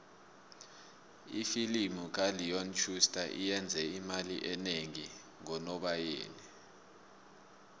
ifilimu kaleon schuster iyenze imali enengi ngonobayeni